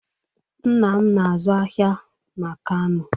Nna m na-azụ ahịa n'Kano